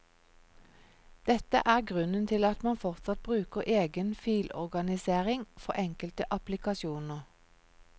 Dette er grunnen til at man fortsatt bruker egen filorganisering for enkelte applikasjoner.